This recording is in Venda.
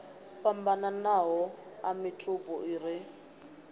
fhambananaho a mitupo i re